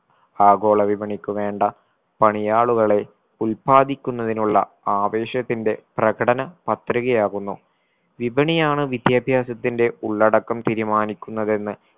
ആഗോളവിപണിക്കു വേണ്ട പണിയാളുകളെ ഉൽപാദിക്കുന്നതിനുള്ള ആവേശത്തിന്റെ പ്രകടന പത്രികയാകുന്നു വിപണിയാണ് വിദ്യാഭ്യാസത്തിന്റെ ഉള്ളടക്കം തീരുമാനിക്കുന്നതെന്ന്